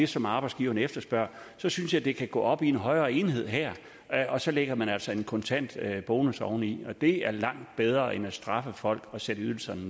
som arbejdsgiverne efterspørger så synes jeg det kan gå op i en højere enhed her og så lægger man altså en kontant bonus oveni og det er langt bedre end at straffe folk og sætte ydelserne